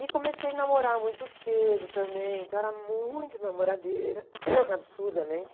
E comecei a namorar muito cedo também, então era muito namoradeira, absurdamente.